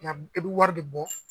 i bi wari de bɔ.